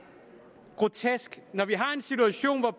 grotesk når vi har en situation hvor